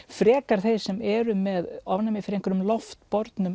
frekar þeir sem eru með ofnæmi fyrir einhverjum